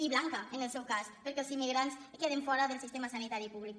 i blanca en el seu cas perquè els immigrants queden fora del sistema sanitari públic